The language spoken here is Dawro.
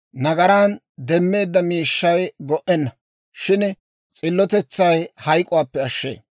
Nagaran demmeedda miishshay go"enna; shin s'illotetsay hayk'k'uwaappe ashshee.